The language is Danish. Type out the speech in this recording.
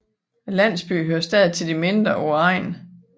Landsbyen hører stadig til de mindre på egnen